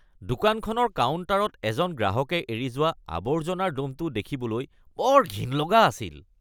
দোকানখনৰ কাউণ্টাৰত এজন গ্ৰাহকে এৰি থৈ যোৱা আবৰ্জনাৰ দ’মটো দেখিবলৈ বৰ ঘিণ লগা আছিল।